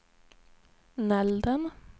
Nälden